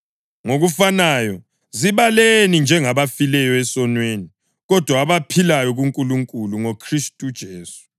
Ngokufanayo, zibaleni njengabafileyo esonweni, kodwa abaphilayo kuNkulunkulu ngoKhristu uJesu.